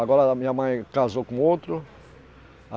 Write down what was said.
Agora a minha mãe casou com outro.